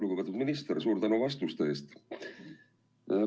Lugupeetud minister, suur tänu vastuste eest!